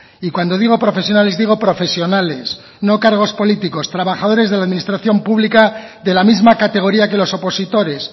y cuando digo profesionales digo profesionales no cargos políticos trabajadores de la administración pública de la misma categoría que los opositores